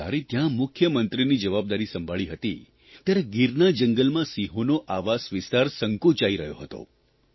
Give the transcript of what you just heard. મેં જ્યારે ત્યાં મુખ્યમંત્રીની જવાબદારી સંભાળી હતી ત્યારે ગીરના જંગલમાં સિંહોનો આવાસ વિસ્તાર સંકોચાઇ રહ્યો હતો